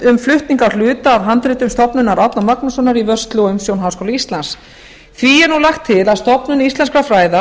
um flutning á hluta af handritum stofnunar árna magnússonar í vörslu og umsjón háskóla íslands því er lagt til að stofnun íslenskra fræða